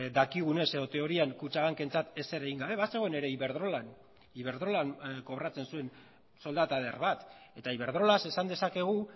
dakigunez edo teorian kutxabankentzat ezer egin gabe bazegoen ere iberdrolan iberdrolan kobratzen zuen soldata eder bat eta iberdrolaz esan dezakegu